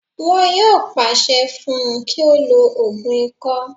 Wọn yóò pàṣẹ fún un kí ó lo ògùn ikọ́